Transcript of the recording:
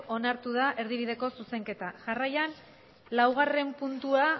onartu da erdibideko zuzenketa jarraian laugarrena